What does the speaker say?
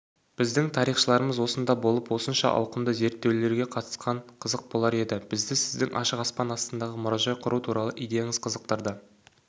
біздің тарихшыларымызға осында болып осыншама ауқымды зерттеулерге қатысқан қызық болар еді бізді сіздің ашық аспан астындағы мұражай құру туралы идеяңыз қызықтырды